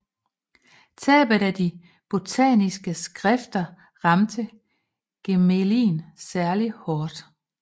Tabet af de botaniske skrifter ramte Gmelin særlig hård